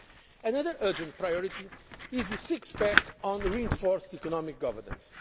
Another urgent priority is the six pack on reinforced economic governance.